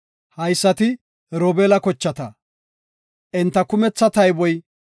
Haysati Robeela kochata; enta kumetha tayboy 43,730.